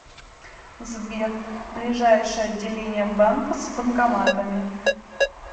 сбер ближайшее отделение банка с банкоматами